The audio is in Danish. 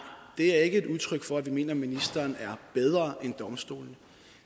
det er ikke et udtryk for at vi mener at ministeren er bedre end domstolene